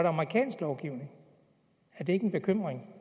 amerikansk lovgivning er det ikke en bekymring